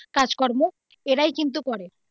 কাজকর্ম এরাই কিন্তু করে.